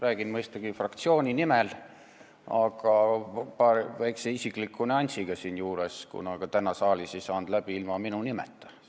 Räägin mõistagi fraktsiooni nimel, aga väikse isikliku nüansiga, kuna ka täna ei saanud saalis läbi minu nime nimetamata.